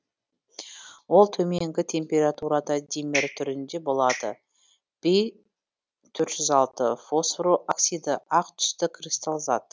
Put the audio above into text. ол төменгі температурада димер түрінде болады пи төрт жүз алты фосфор оксиді ақ түсті кристалл зат